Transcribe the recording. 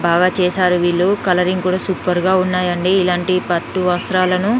చేశారు వీళ్ళు కలరింగ్ కూడా సూపర్ గా ఉన్నాయండి ఇలాంటి పట్టు వస్త్రాలను